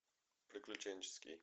приключенческий